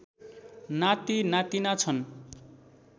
नाति नातीना छन्